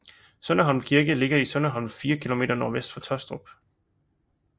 Sønderholm Kirke ligger i Sønderholm 4 km nordvest for Tostrup